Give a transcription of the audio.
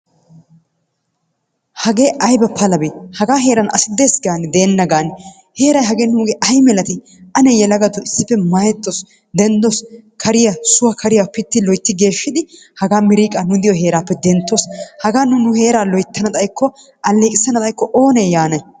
Hage aybba palabe! Haga heeran asi dees gaane deena gaane! Heeray nuuge ay milaati ane yelagatto issippe maayettoos denddoos kariyaa suwa kariyaa pitti geeshshidi haga miriqqa nu diyo heerappe denttoos. Haga nu nu heeraa loyttana xaykko aleeqissana xaykko oone yaanay.